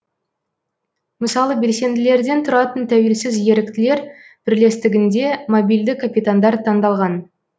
мысалы белсенділерден тұратын тәуелсіз еріктілер бірлестігінде мобильді капитандар таңдалған